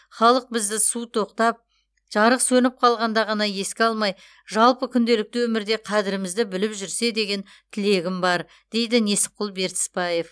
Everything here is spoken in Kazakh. халық бізді су тоқтап жарық сөніп қалғанда ғана еске алмай жалпы күнделікті өмірде қадірімізді біліп жүрсе деген тілегім бар дейді несіпқұл бертісбаев